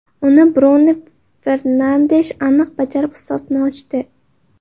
Uni Brunu Fernandesh aniq bajarib, hisobni ochdi.